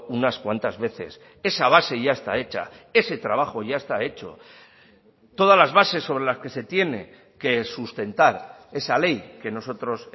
unas cuantas veces esa base ya está hecha ese trabajo ya está hecho todas las bases sobre las que se tiene que sustentar esa ley que nosotros